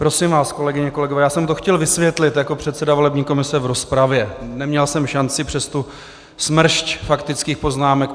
Prosím vás, kolegyně, kolegové, já jsem to chtěl vysvětlit jako předseda volební komise v rozpravě, neměl jsem šanci přes tu smršť faktických poznámek.